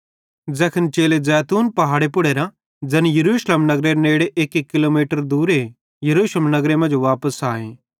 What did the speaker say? ज़ैखन चेले ज़ैतून पहाड़े पुड़ेरां ज़ैन यरूशलेम नगरेरे नेड़े एक्की किलोमीटर दूरे यरूशलेम नगरे मांजो वापस आए